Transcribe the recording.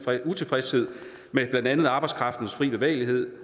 utilfredshed med blandt andet arbejdskraftens fri bevægelighed